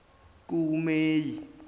kumeyi